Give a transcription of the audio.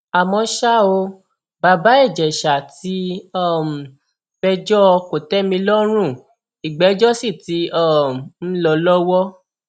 àmọ ṣá o bàbá ìjẹsà ti um péjọ kòtẹmílọ́rùn ìgbẹjọ sì ti um ń lọ lọwọ